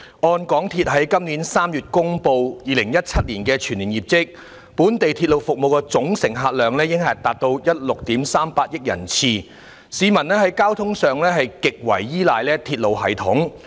按香港鐵路有限公司在今年3月公布的2017年全年業績，本地鐵路服務的總乘客量已達到16億 3,800 萬人次，市民在交通上極為依賴鐵路系統。